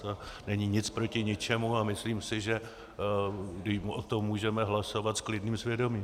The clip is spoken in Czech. To není nic proti ničemu a myslím si, že o tom můžeme hlasovat s klidným svědomím.